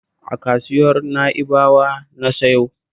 A kasuwar Na'ibawa na sayo